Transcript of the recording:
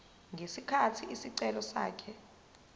ngesikhathi isicelo sakhe